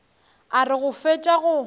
a re go fetša go